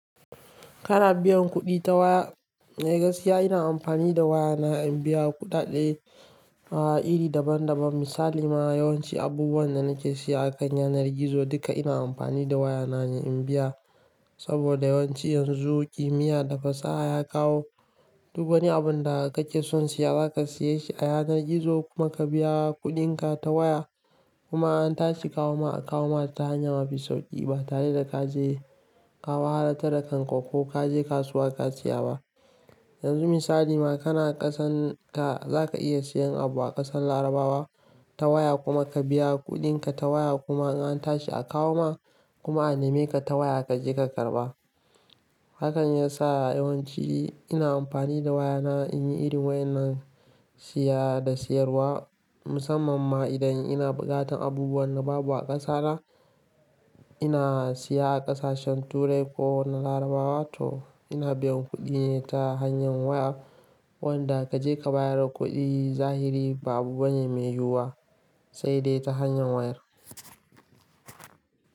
Kana biyan kuɗi ta waya, eh gaskiya ina amfani da wayana in biya kuɗaɗe, iri daban daban. Misali, ma yawanci abubuwan da nake siya a kan yanar gizo duka ina amfani da wayana ne in biya. Saboda yawanci yanzu kimiyya da fasaha ya kawo duk wani abun da kake son siya zaka siyeshi ta yanar gizo kuma ka biya kuɗinka ta waya. Kuma an tashi kawo ma, a kawo mata ta hanya mafi sauƙi ba tare da ka je ka wahalatta da kanka ko ka je kasuwa ka siya ba. Yanzu misali ma kana ƙasan ka zaka iya siyan abu a ƙasan Larabawa ta waya kuma ka biya kuɗinka ta waya kuma in antashi a kawo ma kuma a neme ka ta waya kaje ka karɓa. Hakan ya sa yawanci ina amfani da waya na in yi irin wa'yanan siya da siyarwa. Musamman ma idan ina buƙatan abubuwan da babu a ƙasa na, ina siya a ƙasashen Turai ko na Larabawa toh ina biyan kuɗi ne ta hanya waya. Wanda kaje ka bayar da kuɗi zahiri ba abubane mai yiwa sai dai ta hanya waya.